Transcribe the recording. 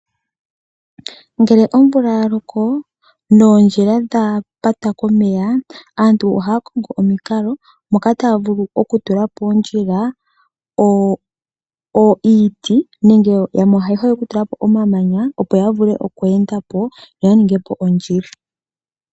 Ngele omvula ya loko noondjila dha pata komeya, aantu ohaya kongo omukalo moka taya vulu okutula iiti nenge omamanya poondjila opo ya vule okweenda po, yo ya ningepo ondjila.